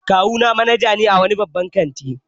Kawuna manaja ne a wani babban kanti